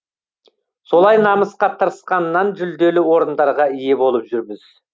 солай намысқа тырысқаннан жүлделі орындарға ие болып жүрміз